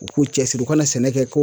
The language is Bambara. U k'u cɛsiri u ka na sɛnɛ kɛ